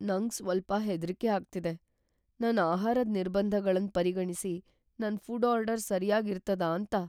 ನಂಗ್ ಸ್ವಲ್ಪ ಹೆದ್ರಿಕೆ ಆಗ್ತಿದೆ. ನನ್ ಆಹಾರದ್ ನಿರ್ಬಂಧಗಳನ್ ಪರಿಗಣಿಸಿ, ನನ್ ಫುಡ್ ಆರ್ಡರ್ ಸರ್ಯಾಗ್ ಇರ್ತದ ಅಂತ.